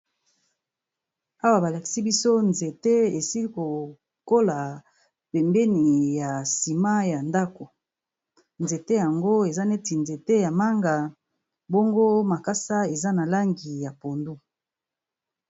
Awa ba lakisi biso nzete e sili ko kola pembeni ya ciment ya ndaku . Nzete yango eza neti nzete ya manga, Bongo makass des. A langi ya